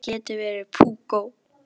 Hvað þú getur verið púkó!